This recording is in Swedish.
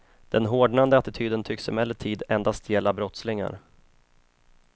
Den hårdnande attityden tycks emellertid endast gälla brottslingar.